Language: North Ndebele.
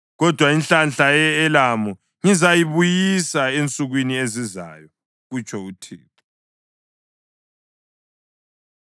“Kodwa inhlanhla ye-Elamu ngizayibuyisa ensukwini ezizayo,” kutsho uThixo.